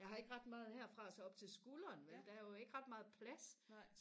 jeg har ikke ret meget her fra og så op til skulderen vel der er jo ikke ret meget plads